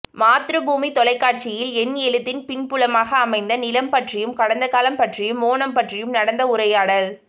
மாத்ருபூமி தொலைக்காட்சியில் என் எழுத்தின் பின்புலமாக அமைந்த நிலம் பற்றியும் கடந்தகாலம் பற்றியும் ஓணம் பற்றியும் நடந்த உரையாடல்